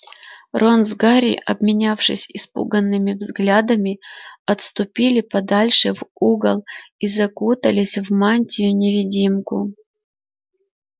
рон с гарри обменявшись испуганными взглядами отступили подальше в угол и закутались в мантию-невидимку